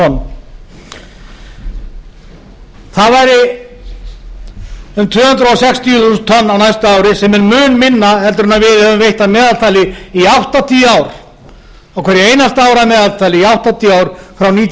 tonn það væri um tvö hundruð sextíu þúsund tonn á næsta ári sem er mun minna en við höfum veitt að meðaltali í áttatíu ár á hverju einasta ári að meðaltali í áttatíu ár frá nítján